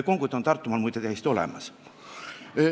Konguta on Tartumaal muide täiesti olemas.